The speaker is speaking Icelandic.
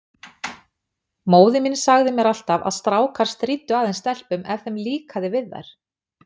Móðir mín sagði mér alltaf að strákar stríddu aðeins stelpum ef þeim líkaði við þær.